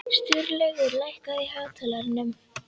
Sturlaugur, lækkaðu í hátalaranum.